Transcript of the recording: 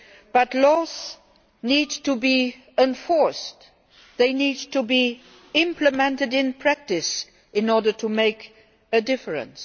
But laws need to be enforced. They need to be implemented in practice in order to make a difference.